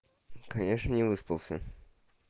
конечно не выспался